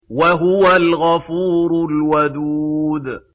وَهُوَ الْغَفُورُ الْوَدُودُ